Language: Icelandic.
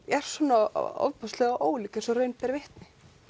er svona ólík eins og raun ber vitni